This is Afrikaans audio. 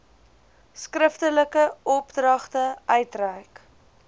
skriftelike opdragte uitreik